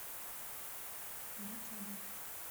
грачевой